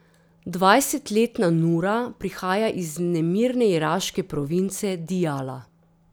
Dvajsetletna Nura prihaja iz nemirne iraške province Dijala.